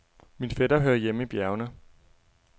Min fætter hører hjemme i bjergene.